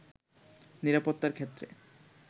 নিরাপত্তার ক্ষেত্রে